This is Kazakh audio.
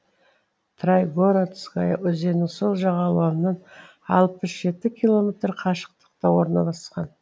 трайгородская өзенінің сол жағалауынан алпыс жеті километр қашықтықта орналасқан